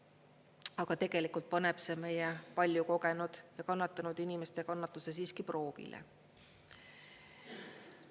Aga tegelikult paneb see meie palju kogenud ja kannatanud inimeste kannatuse siiski proovile.